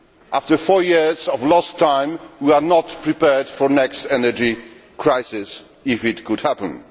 After four years of lost time, we are not prepared for the next energy crisis if it happens.